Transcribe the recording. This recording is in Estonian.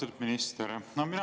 Austatud minister!